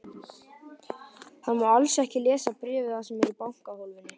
Hann má alls ekki lesa bréfið sem er í bankahólfinu.